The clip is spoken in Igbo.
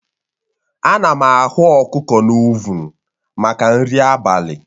Ana m aghụ ọkụkọ na ovuun maka nri abalị